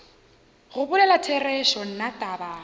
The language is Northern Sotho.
go bolela therešo nna taba